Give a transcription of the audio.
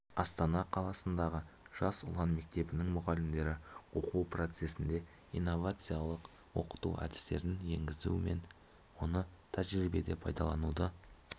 астана қаласындағы жас ұлан мектебінің мұғалімдері оқу процесінде инновациялық оқыту әдістерін енгізу мен оны тәжірибеде пайдалануды